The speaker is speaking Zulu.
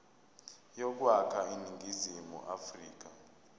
yokwakha iningizimu afrika